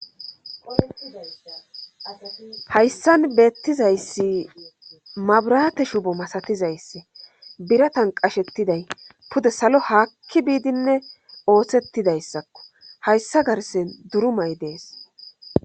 Hayssan beettizayssi mabrate shubo masatizayssi biratan qashettiday pude salo haakki biidinne ooththettidayssakko hayssa garsen durumay dees.